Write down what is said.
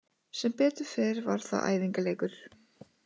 Sem betur fer var það æfingaleikur.